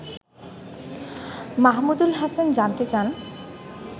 মাহমুদুল হাসান জানতে চান